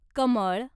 कमळ